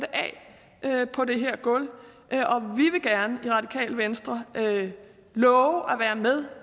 af af på det her gulv og venstre love at være med